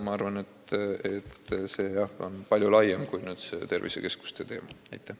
Ning see on palju laiem teema kui tervisekeskuste loomise teema.